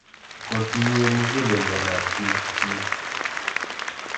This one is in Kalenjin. kotiinyei mugulelwekab biikchich